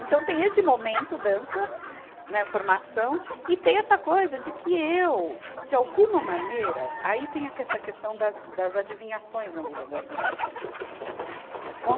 Então tem esse momento, dança, né, formação, e tem essa coisa de que eu, de alguma maneira, aí tem a ques, essa questão das, das adivinhações na vida da gente.